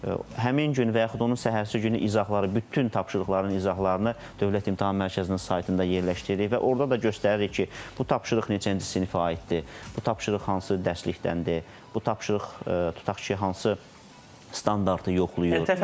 Həmin gün və yaxud onun səhərsi günü izahları, bütün tapşırıqların izahlarını Dövlət İmtahan Mərkəzinin saytında yerləşdiririk və orda da göstəririk ki, bu tapşırıq neçənci sinifə aiddir, bu tapşırıq hansı dərsdəndir, bu tapşırıq tutaq ki, hansı standartı yoxlayır.